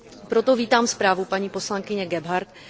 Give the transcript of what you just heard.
Proto vítám zprávu paní poslankyně Gebhardtové.